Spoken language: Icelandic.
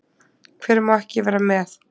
Hver má ekki vera með?